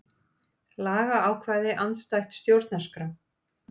Lagaákvæði andstætt stjórnarskrá